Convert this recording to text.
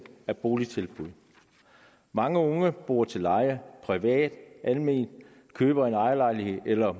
med boligtilbud mange unge bor til leje privat eller alment køber en ejerlejlighed eller